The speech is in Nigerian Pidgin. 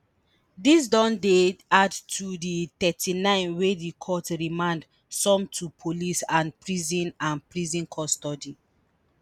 dis don dey add to di thirty-nine wey di court remand some to police and prison and prison custody